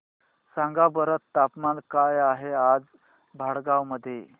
सांगा बरं तापमान काय आहे आज भडगांव मध्ये